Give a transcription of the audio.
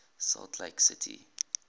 salt lake city